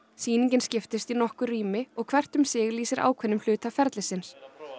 sýningin skiptist í nokkur rými hvert um sig lýsir ákveðnum hluta ferlisins